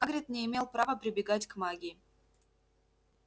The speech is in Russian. хагрид не имел права прибегать к магии